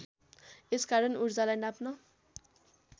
यसकारण ऊर्जालाई नाप्न